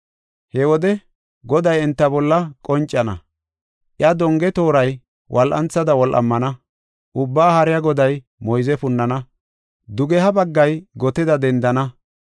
He wode Goday enta bolla qoncana; iya donge tooray wol7antha wol7amana. Ubbaa Haariya Goday moyze punnana; dugeha bagga goteda dendana.